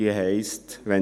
Diese heisst: «[...